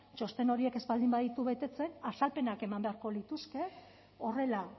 txosten horiek ez baditu betetzen azalpenak eman beharko lituzke horrela